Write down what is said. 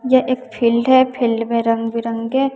यह एक फील्ड है फील्ड में रंग बिरंगे--